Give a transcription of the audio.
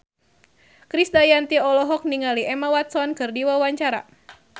Krisdayanti olohok ningali Emma Watson keur diwawancara